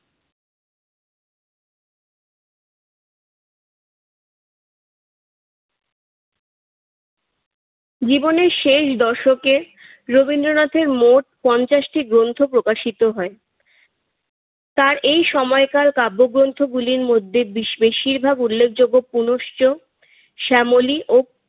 জীবনের শেষ দশকে রবীন্দ্রনাথের মোট পঞ্চাশটি গ্রন্থ প্রকাশিত হয়। তার এই সময়কার কাব্যগ্রন্থগুলির মধ্যে বেশিরভাগ উল্লেখযোগ্য পুনশ্চ, শ্যামলী ও